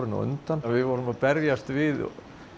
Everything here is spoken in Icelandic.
undan við vorum að berjast við